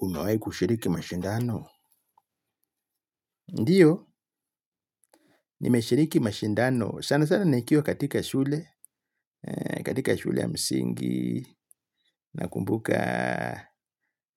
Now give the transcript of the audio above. Umewai kushiriki mashindano? Ndiyo, nimeshiriki mashindano. Sana sana nikiwa katika shule, katika shule ya msingi na kumbuka